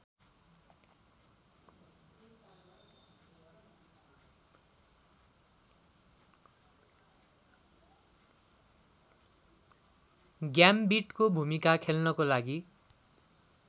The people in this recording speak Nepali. ग्याम्बिटको भूमिका खेल्नको लागि